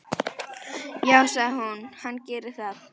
Já, sagði hún, hann gerir það.